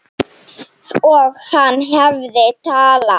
Og hann hafði talað.